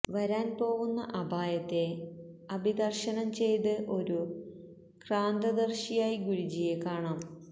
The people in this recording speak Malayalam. വരാൻ പോവുന്ന അപായത്തെ അഭിദർശനം ചെയ്ത ഒരു ക്രാന്തദർശിയായി ഗുരുജിയെ കാണാം